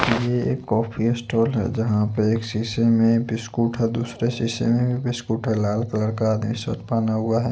ये एक coffee stall है जहा पे एक सीसे में बिस्कुट है दुसरे सिसे में भी बिस्कुट है लाल कलर का आदमी शर्ट पेना हुआ है।